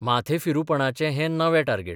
माथेफिरूपणाचें हें नवें टार्गेट.